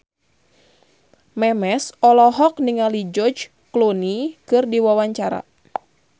Memes olohok ningali George Clooney keur diwawancara